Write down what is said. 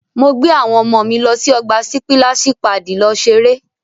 Mo gbé àwọn ọmọ mi lọ́ sí ọgbà sípíláṣì paàdì lọ ṣeré.